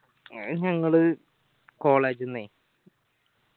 ഞങ്ങൾ college ന്നെ